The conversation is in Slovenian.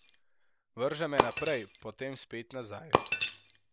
Vrže me naprej, potem spet nazaj.